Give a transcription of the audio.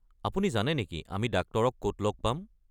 আপুনি জানে নেকি আমি ডাক্তৰক ক'ত লগ পাম?